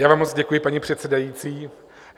Já vám moc děkuji, paní předsedající.